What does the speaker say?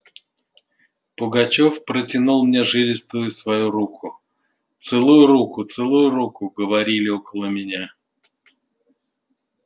пугачёв протянул мне жилистую свою руку целуй руку целуй руку говорили около меня